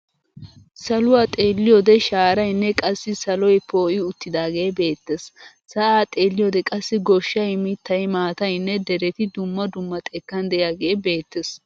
Saluwaa xeelliyoode shaarayinne qassi saloy poo'i uttidaagee beettes. Sa'aa xeelliyoode qassi goshay, mittay, maataynne dereti dumma dumma xekkan de'iyaagee beettes.